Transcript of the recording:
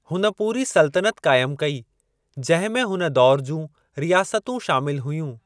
हुन पूरी सुलतनत क़ाइमु कई, जंहिं में हुन दौर जूं रियासतूं शामिल हुयूं।